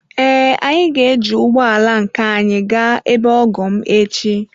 Ee, anyị ga-eji ụgbọ ala nke anyị gaa ebe ọgọ m echi.